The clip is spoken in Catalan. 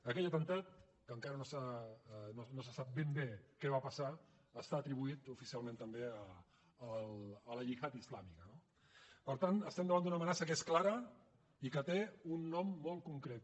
aquell atemptat que encara no se sap ben bé què va passar està atribuït oficialment també a la gihad islàmica no per tant estem davant d’una amenaça que és clara i que té un nom molt concret